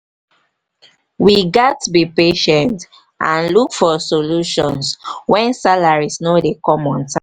we gats be patient and look for solutions wen salaries no dey come on time.